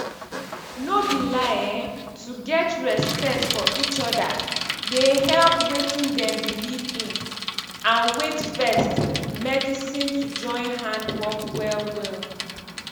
no be lie eh to get respect for eachoda dey help wetin dem believe in and wait first medisin to join hand work well well.